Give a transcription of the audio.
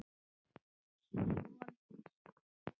Soninn sem Leifur